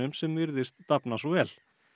sem virðist dafna svo vel